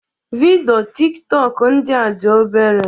Vidịo Tik tọk ndịa dị obere